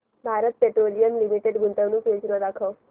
Bharat petroleum limited गुंतवणूक योजना दाखव